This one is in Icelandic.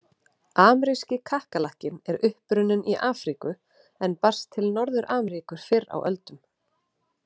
Ameríski kakkalakkinn er upprunninn í Afríku en barst til Norður-Ameríku fyrr á öldum.